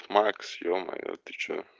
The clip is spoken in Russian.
макс е-мое ты что